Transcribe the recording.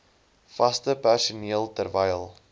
vaste personeel terwyl